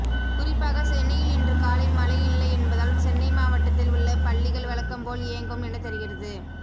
குறிப்பாக சென்னையில் இன்று காலை மழை இல்லை என்பதால் சென்னை மாவட்டத்தில் உள்ள பள்ளிகள் வழக்கம்போல் இயங்கும் என தெரிகிறது